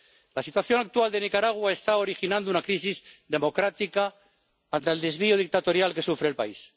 La situación actual de Nicaragua está originando una crisis democrática ante el desvío dictatorial que sufre el país.